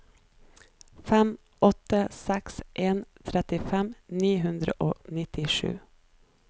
fem åtte seks en trettifem ni hundre og nittisju